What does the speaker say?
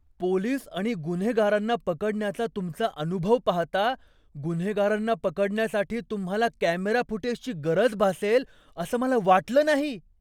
Police आणि गुन्हेगारांना पकडण्याचा तुमचा अनुभव पाहता, गुन्हेगारांना पकडण्यासाठी तुम्हाला कॅमेरा फुटेजची गरज भासेल असं मला वाटलं नाही.